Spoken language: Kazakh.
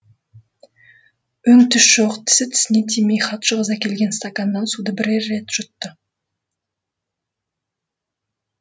өң түс жоқ тісі тісіне тимей хатшы қыз әкелген стаканнан суды бірер рет жұтты